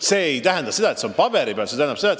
See ei tähenda seda, et see on vaid paberi peal.